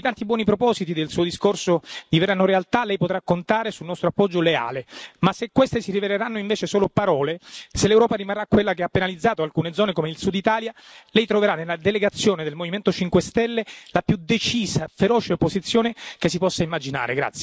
Se i tanti buoni propositi del Suo discorso diverranno realtà, Lei potrà contare sul nostro appoggio leale, ma se questi si riveleranno invece solo parole, se l'Europa rimarrà quella che ha penalizzato alcune zone come il Sud Italia, Lei troverà nella delegazione del Movimento 5 Stelle la più decisa e feroce opposizione che si possa immaginare.